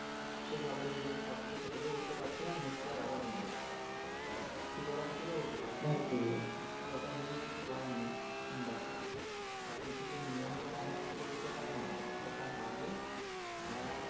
সেইভাবে নিজেরা সবকিছু settle ও হতে পারছে না। next year আবার ভেঙ্গে যাচ্ছে। সঠিক ওরা settle ও হতে পারছে না। but ওটা নিয়েও কিছু করার নেই। দেখো প্রাকৃতিকের নিয়মে তো আমরা উপরে যেতে পারি না। ওটা হবে ওটা